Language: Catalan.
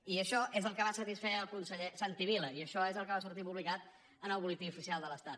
i això és el que va satisfer al conseller santi vila i això és el que va sortir publicat en el butlletí oficial de l’estat